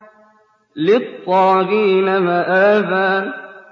لِّلطَّاغِينَ مَآبًا